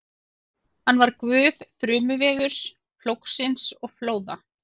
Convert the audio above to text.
Hann var guð þrumuveðurs, plógsins og flóða.